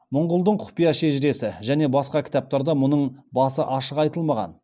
мұңғұлдың құпия шежіресі және басқа кітаптарда мұның басы ашық айтылмаған